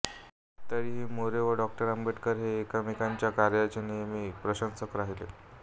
तरीही मोरे व डॉक्टर आंबेडकर हे एकमेकांच्या कार्यांचे नेहमी प्रशंसक राहिले